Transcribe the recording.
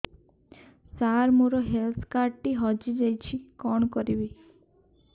ସାର ମୋର health card ଟି ହଜି ଯାଇଛି କଣ କରିବି